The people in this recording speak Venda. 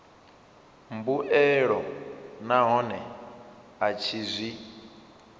mbuelo nahone a tshi zwi